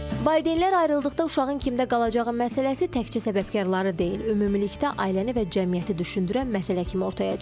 Valideynlər ayrıldıqda uşağın kimdə qalacağı məsələsi təkcə səbəbkarları deyil, ümumilikdə ailəni və cəmiyyəti düşündürən məsələ kimi ortaya çıxır.